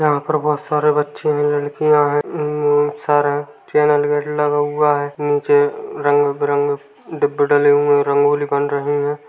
यहाँ पर बहोत सारे बच्चे है लड़कियां है सर है चैनल गेट लगा हुआ है निचे रंग-बिरंगे डब्बा डले हुआ है रंग-बिरंगे डिब्बे डले हुए है रंगोली बन रही है।